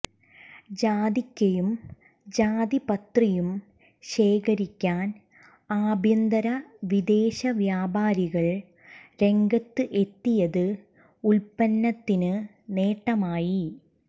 ജാതിക്കയും ജാതിപത്രിയും ശേഖരിക്കാൻ ആഭ്യന്തര വിദേശ വ്യാപാരികൾ രംഗത്ത് എത്തിയത് ഉൽപന്നത്തിന് നേട്ടമായി